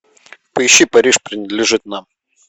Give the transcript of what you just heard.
поищи париж принадлежит нам